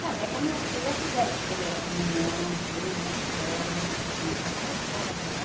Até que as minhas filhas fizeram primeira comunhão, tudo, na escola, quando estava na escola, né?